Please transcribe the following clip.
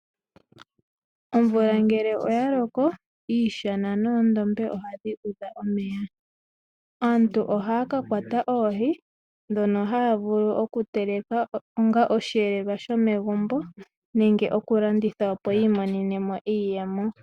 Omvula ngele oya loko, iishana noondombe oha dhi udha omeya. Aantu oha ya ka kwata oohi, dhono ha ya vulu oku teleka onga osheelelwa shomegumbo nenge, oku landitha opo yiimonene mo iiyemo.